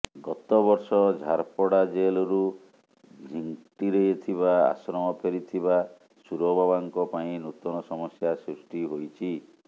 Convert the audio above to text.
ଗତ ବର୍ଷ ଝାରପଡା ଜେଲରୁ ଝିଂଟିରେ ଥିବା ଆଶ୍ରମ ଫେରିଥିବା ସୁରବାବାଙ୍କ ପାଇଁ ନୂତନ ସମସ୍ୟା ସୃଷ୍ଟି ହୋଇଛି